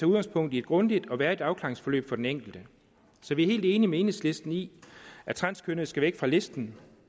udgangspunkt i et grundigt og værdigt afklaringsforløb for den enkelte så vi er helt enige med enhedslisten i at transkønnede skal væk fra listen